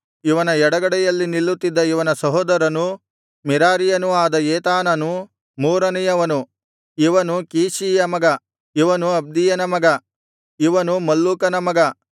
ಇವನ ಎಡಗಡೆಯಲ್ಲಿ ನಿಲ್ಲುತ್ತಿದ್ದ ಇವನ ಸಹೋದರನೂ ಮೆರಾರಿಯನೂ ಆದ ಏತಾನನು ಮೂರನೆಯವನು ಇವನು ಕೀಷೀಯ ಮಗ ಇವನು ಅಬ್ದೀಯನ ಮಗ ಇವನು ಮಲ್ಲೂಕನ ಮಗ